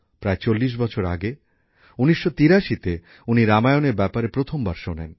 প্রায় ৪০ বছর আগে ১৯৮৩তে উনি রামায়ণের ব্যাপারে প্রথমবার শোনেন